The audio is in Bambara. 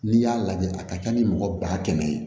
N'i y'a lajɛ a ka ca ni mɔgɔ ba kɛmɛ ye